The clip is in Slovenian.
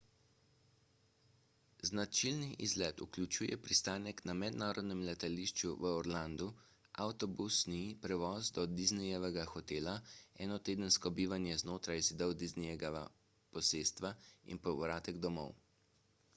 značilni izlet vključuje pristanek na mednarodnem letališču v orlandu avtobusni prevoz do disneyjevega hotela enotedensko bivanje znotraj zidov disneyjevega posestva in povratek domov